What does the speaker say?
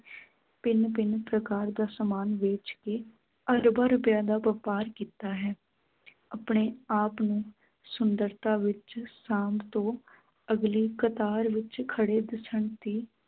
ਭਿੰਨ ਭਿੰਨ ਪ੍ਰਕਾਰ ਦਾ ਸਾਮਾਨ ਵੇਚ ਕੇ ਅਰਬਾਂ ਰੁਪਇਆਂ ਦਾ ਵਪਾਰ ਕੀਤਾ ਹੈ ਆਪਣੇ ਆਪ ਨੂੰ ਸੁੰਦਰਤਾ ਵਿੱਚ ਸਾਂਭ ਤੋਂ ਅਗਲੀ ਕਤਾਰ ਵਿੱਚ ਖੜ੍ਹੇ ਦਿੱਸਣ ਦੀ